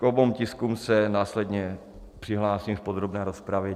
K oběma tiskům se následně přihlásím v podrobné rozpravě.